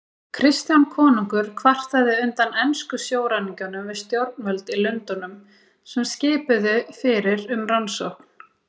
Kristján konungur kvartaði undan ensku sjóræningjunum við stjórnvöld í Lundúnum, sem skipuðu fyrir um rannsókn.